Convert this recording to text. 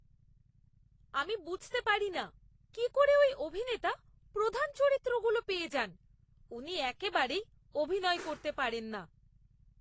আমি বুঝতে পারি না কি করে ওই অভিনেতা প্রধান চরিত্রগুলো পেয়ে যান। উনি একেবারেই অভিনয় করতে পারেন না!